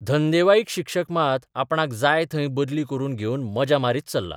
धंदेवाईक शिक्षक मात आपणाक जाय थंय बदली करून घेवन मजा मारीत चल्ला.